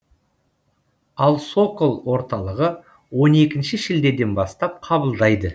ал сокол орталығы он екінші шілдеден бастап қабылдайды